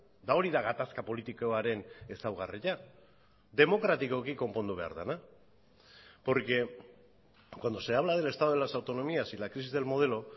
eta hori da gatazka politikoaren ezaugarria demokratikoki konpondu behar dena porque cuando se habla del estado de las autonomías y la crisis del modelo